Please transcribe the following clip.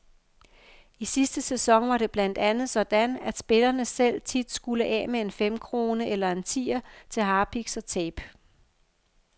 I sidste sæson var det blandt andet sådan, at spillerne selv tit skulle af med en femkrone eller en tier til harpiks og tape.